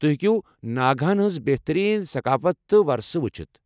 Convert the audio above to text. تُہۍ ہیٚکِو ناگاہن ہِنٛز بہترین ثقافت تہٕ ورشہٕ وُچھِتھ ۔